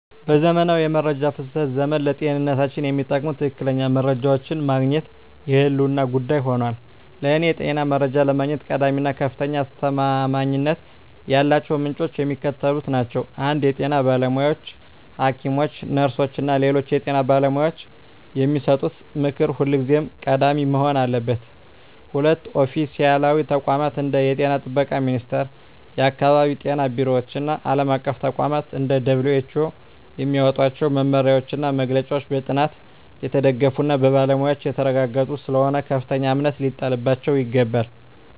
በዘመናዊው የመረጃ ፍሰት ዘመን፣ ለጤንነታችን የሚጠቅሙ ትክክለኛ መረጃዎችን ማግኘት የህልውና ጉዳይ ሆኗል። ለእኔ የጤና መረጃ ለማግኘት ቀዳሚ እና ከፍተኛ አስተማማኝነት ያላቸው ምንጮች የሚከተሉት ናቸው 1) የጤና ባለሙያዎች: ሐኪሞች፣ ነርሶች እና ሌሎች የጤና ባለሙያዎች የሚሰጡት ምክር ሁልጊዜም ቀዳሚ መሆን አለበት። 2)ኦፊሴላዊ ተቋማት: እንደ የጤና ጥበቃ ሚኒስቴር፣ የአካባቢ ጤና ቢሮዎች እና ዓለም አቀፍ ተቋማት (እንደ WHO) የሚያወጧቸው መመሪያዎችና መግለጫዎች በጥናት የተደገፉና በባለሙያዎች የተረጋገጡ ስለሆኑ ከፍተኛ እምነት ሊጣልባቸው ይገባል።